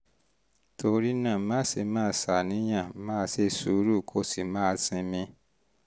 torí náà má ṣe máa ṣàníyàn máa ṣe sùúrù kó o sì máa sinmi